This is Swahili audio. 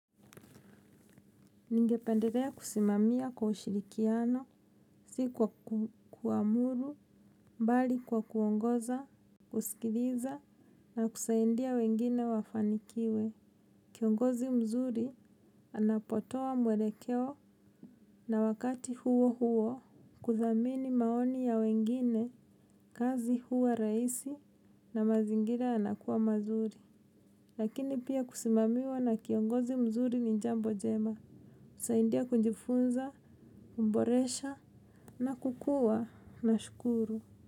Ningependelea kusimamia kwa ushirikiano, si kwa kuamuru, bali kwa kuongoza, kusikiliza, na kusaidia wengine wafanikiwe. Kiongozi mzuri anapotoa mwelekeo na wakati huo huo, kuthamini maoni ya wengine, kazi huwa rahisi, na mazingira yanakuwa mazuri. Lakini pia kusimamiwa na kiongozi mzuri ni jambo jema. Saidia kujifunza, kuboresha na kukua nashukuru.